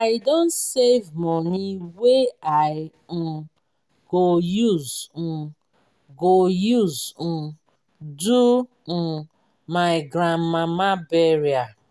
i don save moni wey i um go use um go use um do um my grandmama burial.